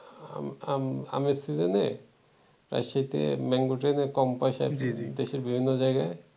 আম আমের season এ রাজশাহীতে mango ট্রেনে কম পয়সায় দেশের বিভিন্ন জায়গায়